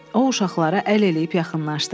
O uşaqlara əl eləyib yaxınlaşdı.